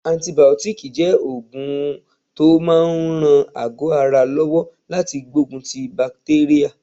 Antibiotics jẹ́ oògùn tó máa ń ran àgọ́ ara lọ́wọ́ láti gbógun ti bakitérà.